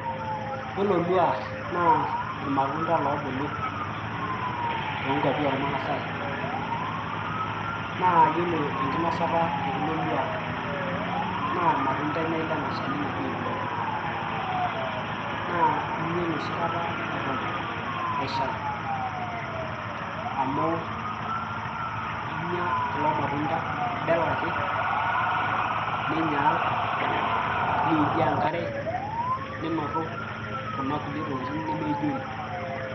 Iyiolo lua naa irmatunda loobulu too nkuapi ormaasai, naa iyiolo enkinosata e kulo lua naa irmatunda enyae lena shani naji eluai naa inya ensohi kata eton eshal amu inya kulo matunda, ibel ake ninyaal nijoo enkare, ninotu kuna kulie tokitin nemaijori.